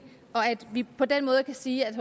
og at vi på den måde kan sige at